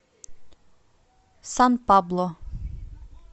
сан пабло